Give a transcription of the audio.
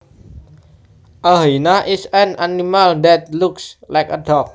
A hyena is an animal that looks like a dog